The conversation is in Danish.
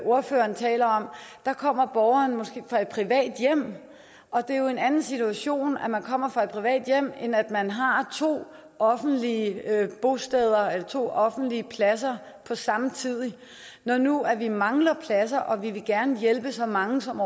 ordføreren taler om kommer borgeren måske fra et privat hjem og det er jo en anden situation at man kommer fra et privat hjem end at man har to offentlige bosteder to offentlige pladser på samme tid når nu vi mangler pladser og vi gerne vil hjælpe så mange som